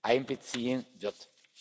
einbeziehen wird.